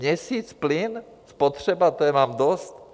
Měsíc plyn spotřeba, to je vám dost?